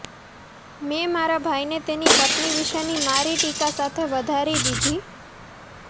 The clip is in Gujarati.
મેં મારા ભાઈને તેની પત્ની વિશેની મારી ટીકા સાથે વધારી દીધી